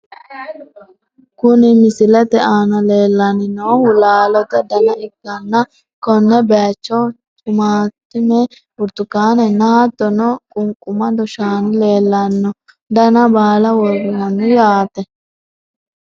Kuni misilete aana lellanni noohu laalote dana ikkanna, konne bayiicho tumaattume, burtukaanenna hattono qunqumadu shaani leelanno. dana baala worroonni yaate.